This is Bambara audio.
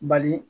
Bali